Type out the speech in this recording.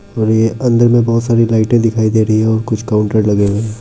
और ये अंदर में बहुत सारी लाईटे दिखाई दे रही हैं और कुछ काउंटर लगे हैं।